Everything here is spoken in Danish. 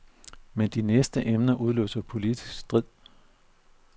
Men de næste emner udløser politisk strid.